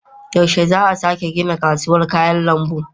Yaushe za a sake gina kasuwar kayan lambu?